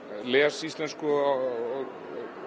les íslensku og